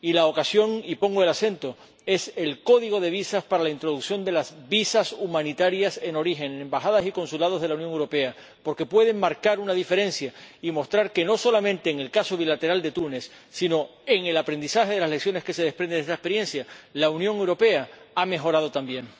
Y la ocasión —y pongo el acento— es el código de visados para la introducción de los visados humanitarios en origen, en embajadas y consulados de la Unión Europea, porque pueden marcar una diferencia y mostrar que no solamente en el caso bilateral de Túnez, sino en el aprendizaje de las lecciones que se desprende de esa experiencia, la Unión Europea ha mejorado también.